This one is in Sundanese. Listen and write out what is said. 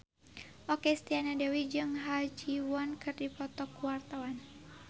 Okky Setiana Dewi jeung Ha Ji Won keur dipoto ku wartawan